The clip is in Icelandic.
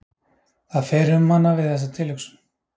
Það fer um hana við þessa tilhugsun.